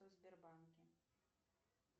сбербанке